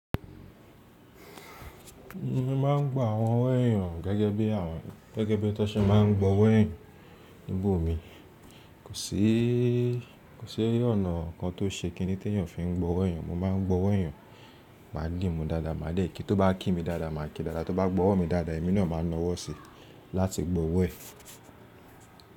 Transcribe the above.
Mo máa ń gba àwọn ọ̀wo eeyàn gẹ́gẹ́ bí àwọn, gẹ́gẹ́ bí tó ṣe máa ń gbowó eyàn níbò mi. Kò sí, ọ̀nà kan tó ṣe kíni tí èèyàn fi ń gbowó eyàn. Mo máa ń gbọ́wọ́ eeyàn, ma dìmù dáadáa, màá dè kí tó bá kí mi dáadáa, màá kí dáadáa, tó bá gbọ́wọ́ mi dáadáa, èmi náà máa nawọ́ síi láti gbọ́wọ́ ẹ̀.